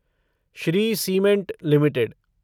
Shri cement limited